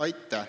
Aitäh!